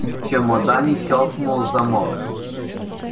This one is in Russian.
в чемодане щёлкнул замок